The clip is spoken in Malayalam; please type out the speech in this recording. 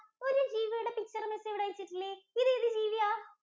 ഒരു ജീവിയുടെ picture miss ഇവിടെ വെച്ചിട്ടില്ലേ, ഇതേത് ജീവിയാ?